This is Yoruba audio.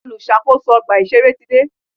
Olùṣàkóso ọgbà ìṣẹ̀rẹ́ ti dé.